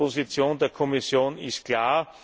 Die Position der Kommission ist klar.